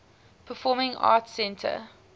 performing arts center